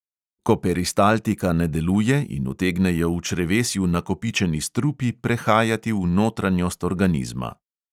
Ko peristaltika ne deluje in utegnejo v črevesju nakopičeni strupi prehajati v notranjost organizma.